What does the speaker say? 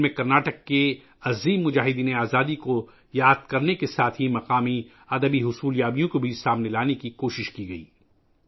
ان میں کرناٹک کے عظیم آزادی پسندوں کو یاد کرنے کے ساتھ ساتھ مقامی ادبی کارناموں کو بھی منظر عام پر لانے کی کوشش کی گئی تھی